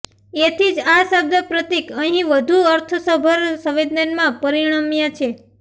એથી જ આ શબ્દ પ્રતીક અહીં વઘું અર્થસભર સંવેદનમાં પરિણમ્યાં છે